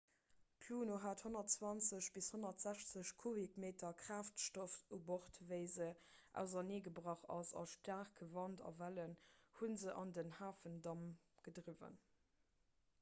d'luno hat 120 - 160 kubikmeter kraaftstoff u bord wéi se auserneegebrach ass a staarke wand a wellen hu se an den hafendamm gedriwwen